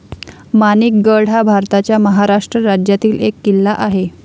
माणिक गड हा भारताच्या महाराष्ट्र राज्यातील एक किल्ला आहे